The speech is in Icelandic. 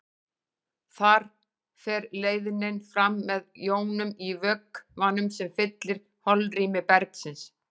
Þar fer leiðnin fram með jónum í vökvanum sem fyllir holrými bergsins.